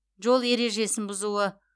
жол ережесін бұзуы